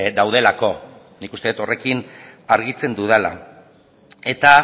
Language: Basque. daudelako nik uste dut horrekin argitzen dudala eta